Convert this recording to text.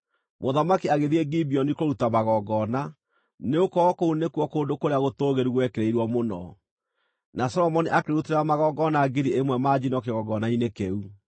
Mũthamaki agĩthiĩ Gibeoni kũruta magongona, nĩgũkorwo kũu nĩkuo kũndũ kũrĩa gũtũũgĩru gwekĩrĩirwo mũno, na Solomoni akĩrutĩra magongona ngiri ĩmwe ma njino kĩgongona-inĩ kĩu.